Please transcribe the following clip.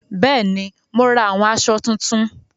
Bẹ́ẹ̀ni, mo ra àwọn asọ tuntun